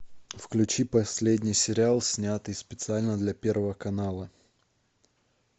включи последний сериал снятый специально для первого канала